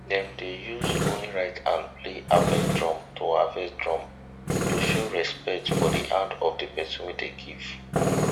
dem dey use only right hand play harvest drum to harvest drum to show respect for the hand of the person wey dey give